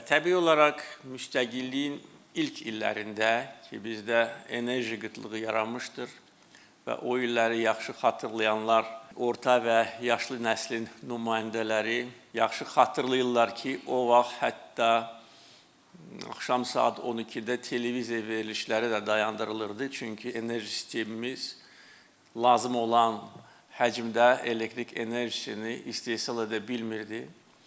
Və təbii olaraq müstəqilliyin ilk illərində ki, bizdə enerji qıtlığı yaranmışdır və o illəri yaxşı xatırlayanlar, orta və yaşlı nəslin nümayəndələri yaxşı xatırlayırlar ki, o vaxt hətta axşam saat 12-də televiziya verilişləri də dayandırılırdı, çünki enerji sistemimiz lazım olan həcmdə elektrik enerjisini istehsal edə bilmirdi.